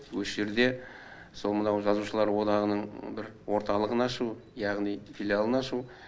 осы жерде сол мынау жазушылар одағының бір орталығын ашу яғни филиалын ашу